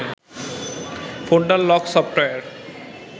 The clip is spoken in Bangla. folder lock software